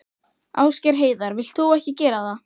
Ásgeir Heiðar: Vilt þú ekki gera það?